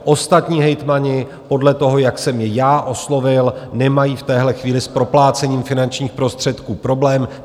Ostatní hejtmani podle toho, jak jsem je já oslovil, nemají v téhle chvíli s proplácením finančních prostředků problém.